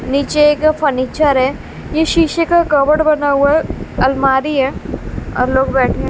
नीचे एक फर्नीचर है ये शीशे का कबड बना हुआ है अलमारी है और लोग बैठे--